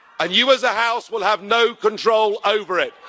You, as a House, will have no control over it.